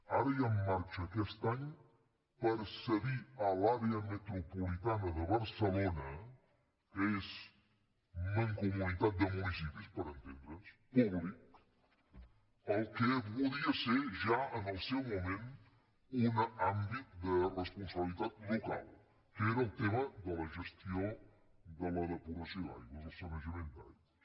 ara hi ha en marxa aquest any per cedir a l’àrea metropolitana de barcelona que és mancomunitat de municipis per entendre’ns públic el que podia ser ja en el seu moment un àmbit de responsabilitat local que era el tema de la gestió de la depuració d’aigües el sanejament d’aigües